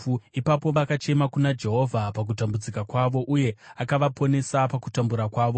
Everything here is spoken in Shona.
Ipapo vakachema kuna Jehovha pakutambudzika kwavo, uye akavaponesa pakutambura kwavo.